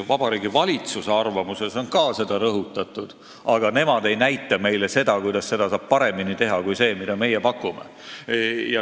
Vabariigi Valitsuse arvamuses on ka seda rõhutatud, aga nemad ei näita meile, kuidas seda saab paremini teha kui sellega, mida meie pakume.